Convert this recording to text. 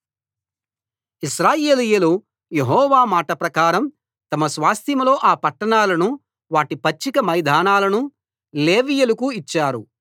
ఇశ్రాయేలీయులు యెహోవా మాట ప్రకారం తమ స్వాస్థ్యంలో ఈ పట్టణాలను వాటి పచ్చిక మైదానాలను లేవీయులకు ఇచ్చారు